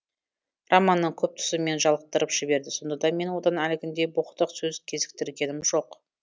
романның көп тұсы мені жалықтырып жіберді сонда да мен одан әлгіндей боқтық сөз кезіктіргенім жоқ